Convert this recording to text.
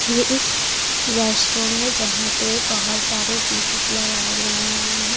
ये एक रेस्टोरेंट है जहां पे बहुत सारे सीशेस लगाए गए हुए हैं।